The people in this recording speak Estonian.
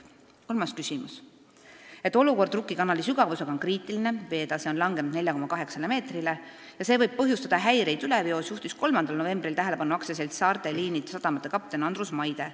Kolmas küsimus: "Et olukord Rukki kanali sügavusega on kriitiline ja see võib põhjustada häireid üleveos, juhtis 3. novembril 2017 tähelepanu AS Saarte Liinid sadamate peakapten Andrus Maide.